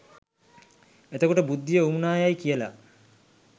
එතකොට බුද්ධිය වුවමනා යැයි කියලා